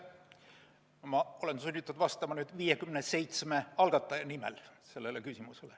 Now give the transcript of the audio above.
Ma olen sunnitud vastama 57 algataja nimel sellele küsimusele.